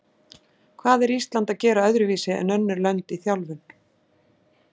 Hvað er Ísland að gera öðruvísi en önnur lönd í þjálfun?